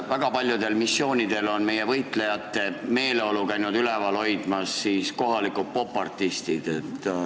Väga paljudel missioonidel on võitlejate meeleolu käinud üleval hoidmas meie popartistid.